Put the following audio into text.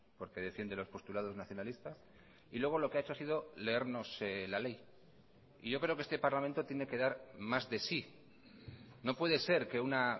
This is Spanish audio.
porque defiende los postulados nacionalistas y luego lo que ha hecho ha sido leernos la ley y yo creo que este parlamento tiene que dar más de sí no puede ser que una